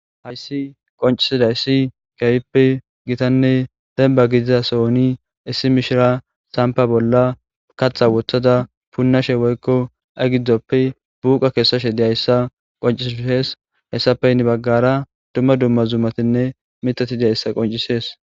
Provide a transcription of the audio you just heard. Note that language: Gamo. hayssi qoncisida issi keefippe gitanne demba gidiza sohoni issi mishira sampa bolla katha wothada punnashe woykko aygiddzoppe buuqa keessashe diyayssa qoncisushees hessapeynni baggara dumma dumma zumatinne mitati diyayssa qoncisees